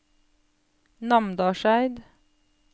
Namdalseid